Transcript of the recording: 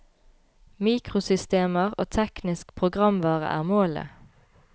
Mikrosystemer og teknisk programvare er målet.